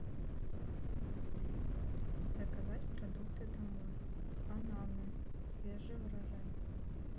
заказать продукты домой бананы свежий урожай